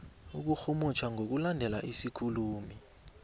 ukurhumutjha ngokulandela isikhulumi